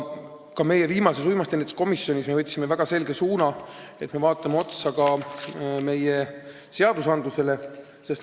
Ka viimati uimastiennetuse komisjonis me võtsime väga selge suuna, et me vaatame meie seadusi üle.